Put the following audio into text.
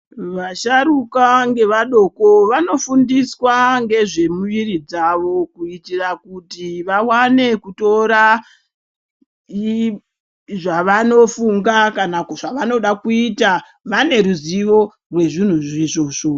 Vasharuka ngevadoko vanofundiswa ngezvemuviri dzavo kuitira kuti vawane kutora ezvavanofunga kana kuti zvavanoda kuita vaneruzivo rezvinhu izvozvo.